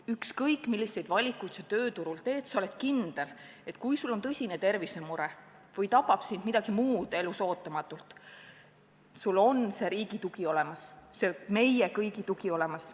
Ükskõik, milliseid valikuid sa tööturul teed, sa pead saama olla kindel, et kui sul on tõsine tervisemure või tabab sind midagi muud elus ootamatult, sul on riigi tugi olemas, meie kõigi tugi olemas.